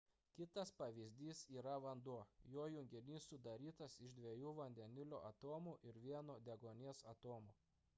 kitas pavyzdys yra vanduo jo junginys sudarytas iš dviejų vandenilio atomų ir vieno deguonies atomo